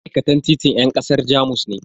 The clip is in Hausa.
Ma'aikatan titin yan kasar Jamus ne.